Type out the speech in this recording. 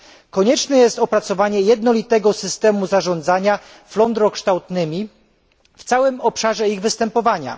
Konieczne jest opracowanie jednolitego systemu zarządzania flądrokształtnymi w całym obszarze ich występowania.